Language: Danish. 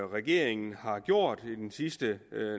regeringen har gjort i den sidste